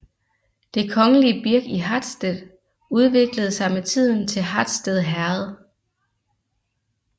Det kongelige birk i Hatsted udviklede sig med tiden til Hatsted Herred